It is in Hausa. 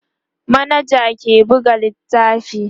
manaja ke buga littafi